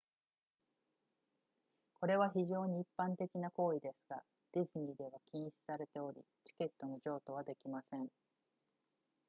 これは非常に一般的な行為ですがディズニーでは禁止されておりチケットの譲渡はできません